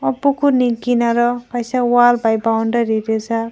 pukur ni kinaro kaisa wall by boundary reejak.